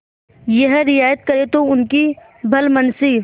यह रियायत करें तो उनकी भलमनसी